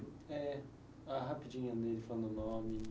É, a rapidinha dele falando o nome.